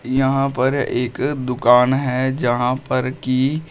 यहां पर एक दुकान है जहां पर की--